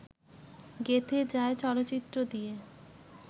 গেঁথে যায় চলচ্চিত্র দিয়ে